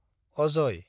Ajay